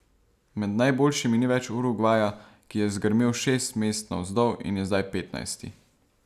Med najboljšimi ni več Urugvaja, ki je zgrmel šest mest navzdol in je zdaj petnajsti.